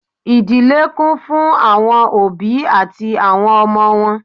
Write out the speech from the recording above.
Ìdílé kún fún àwọn òbí àti àwọn ọmọ wọn